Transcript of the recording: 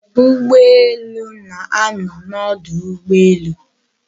Ugboelu na-ano n'odu ugboelu